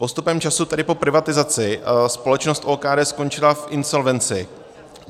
Postupem času, tedy po privatizaci, společnost OKD skončila v insolvenci.